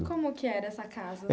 Como que era essa casa?